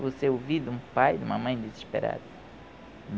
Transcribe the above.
Você ouvir de um pai, de uma mãe desesperada.